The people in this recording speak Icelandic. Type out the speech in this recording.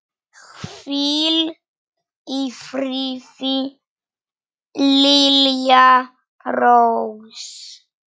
Hvíl í friði, Lilja Rós.